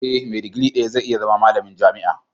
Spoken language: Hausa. Eh, me digiri daya zai iya zama malamin jami'a.